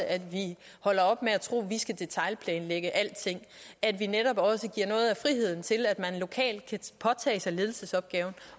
at vi holder op med at tro at vi skal detailplanlægge alting at vi netop også giver noget af friheden til at man lokalt kan påtage sig ledelsesopgaven